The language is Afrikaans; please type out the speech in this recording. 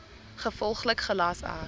gevolglik gelas ek